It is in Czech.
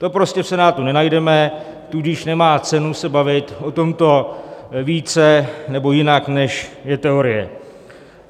To prostě v Senátu nenajdeme, tudíž nemá cenu se bavit o tomto více nebo jinak, než je teorie.